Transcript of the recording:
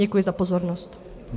Děkuji za pozornost.